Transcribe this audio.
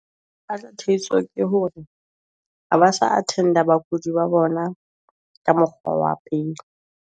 Thabiswa ke hore ha ba sa attend-a bakudi ba bona, ka mokgwa wa pele.